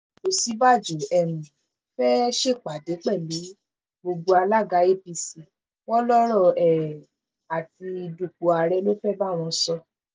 òsínbàjò um fẹ́ẹ́ ṣèpàdé pẹ̀lú gbogbo alága apc wọn lọ́rọ̀ um àti dúpọ̀ ààrẹ ló fẹ́ẹ́ bá wọn sọ